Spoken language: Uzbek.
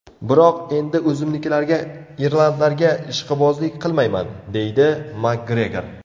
Biroq endi o‘zimnikilarga irlandlarga ishqibozlik qilmayman”, deydi Makgregor.